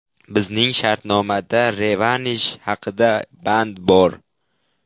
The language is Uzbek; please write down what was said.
Bizning shartnomada revansh haqida band bor.